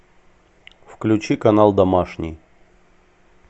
включи канал домашний